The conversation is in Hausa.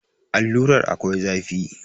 Allurar akwai zafi